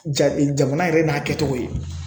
Ja jamana yɛrɛ n'a kɛcogo ye.